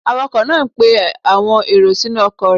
Awakọ̀ náá ń pe àwọn èrò sínú ọkọ̀ rẹ̀